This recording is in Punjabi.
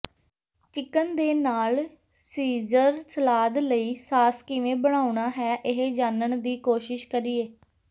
ਚਿਕਨ ਦੇ ਨਾਲ ਸੀਜ਼ਰ ਸਲਾਦ ਲਈ ਸਾਸ ਕਿਵੇਂ ਬਣਾਉਣਾ ਹੈ ਇਹ ਜਾਣਨ ਦੀ ਕੋਸ਼ਿਸ਼ ਕਰੀਏ